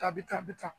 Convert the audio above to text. A bɛ taa a bɛ ta